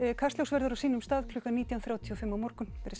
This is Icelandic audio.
Kastljós verður á sínum stað klukkan nítján þrjátíu og fimm á morgun verið sæl